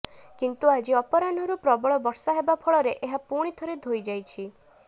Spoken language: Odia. କିନ୍ତୁ ଆଜି ଅପରାହ୍ନରୁ ପ୍ରବଳ ବର୍ଷା ହେବା ଫଳରେ ଏହା ପୁଣି ଥରେ ଧୋଇ ହୋଇ ଯାଇଛି